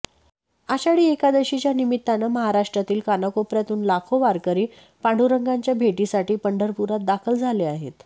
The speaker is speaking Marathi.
आषाढी एकादशीच्या निमित्तानं महाराष्ट्रातील कानाकोपऱ्यातून लाखो वारकरी पांडुरंगाच्या भेटीसाठी पंढरपुरात दाखल झाले आहेत